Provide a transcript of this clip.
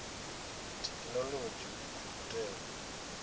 thekhinolodzhi u khou tea u